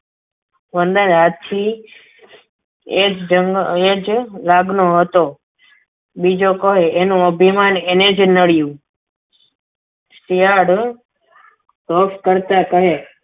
વનરાજ હાથી એ જ લાગનો હતો બીજે કોઈ એનું અભિમાન એને જ નડ્યું શિયાળ રોપ કરતા કહે.